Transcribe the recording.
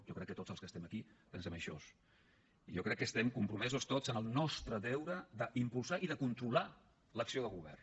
jo crec que tots els que estem aquí pensem això i jo crec que estem compromesos tots amb el nostre deure d’impulsar i de controlar l’acció de govern